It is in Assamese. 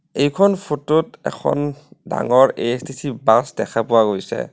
এইখন ফটো ত এখন ডাঙৰ এ_এচ_টি_চি বাছ দেখা পোৱা গৈছে।